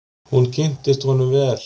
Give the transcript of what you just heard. Hún kynntist honum vel.